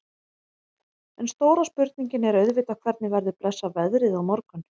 En stóra spurningin er auðvitað hvernig verður blessað veðrið á morgun?